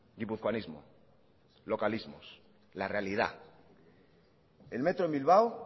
guipuzcoanismo localismos la realidad el metro en bilbao